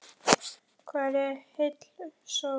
Hvar er heil sól?